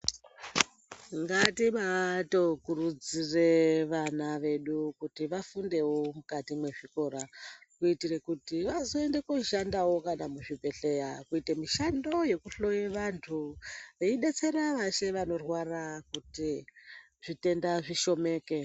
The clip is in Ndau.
Ngatibaatokurudzire vana vedu kuti vafundewo mukati mwezvikora kuitire kuti vazoende kooshandawo kana muzvibhedhlera kuite mishando yekuhloya vantu veidetsera veshe vanorwara kuti zvitenda zvishomeke.